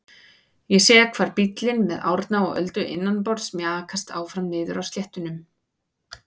Ég sé hvar bíllinn með Árna og Öldu innanborðs mjakast áfram niðri á sléttunum.